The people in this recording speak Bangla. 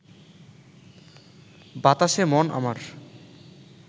বাতাসে মন আমার